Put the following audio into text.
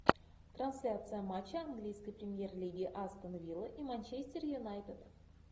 трансляция матча английской премьер лиги астон вилла и манчестер юнайтед